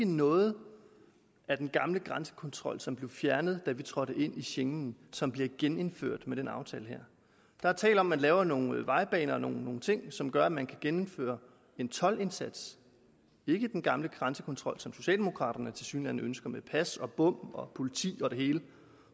noget af den gamle grænsekontrol som blev fjernet da vi trådte ind i schengen som bliver genindført med den aftale her der er tale om at man laver nogle vejbaner og nogle ting som gør at man kan gennemføre en toldindsats ikke den gamle grænsekontrol som socialdemokraterne tilsyneladende ønsker med pas og bom og politi og det hele